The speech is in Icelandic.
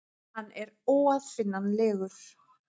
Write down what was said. Hann er óaðfinnanlegur.